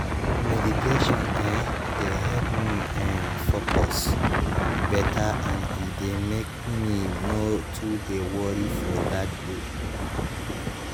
meditation eh dey help me um focus beta and e dey make me nor too dey worry for that day